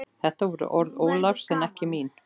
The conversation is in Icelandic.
Þetta voru orð Ólafs en ekki mín.